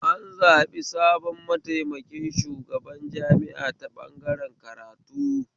An zaɓi sabon mataimakin shugaban jami'a ta ɓangaren karatu